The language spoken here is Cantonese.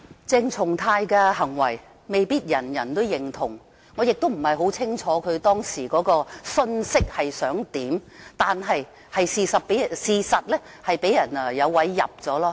鄭松泰議員的行為未必人人認同，我亦不很清楚他當時想表達甚麼信息，但事實上是讓人有機可乘。